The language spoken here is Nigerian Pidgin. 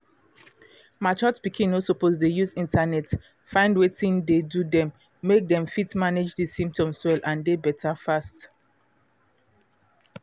matured pikin no suppose dey use internet find wetin dey do them make them fit manage di symptoms well and dey better fast.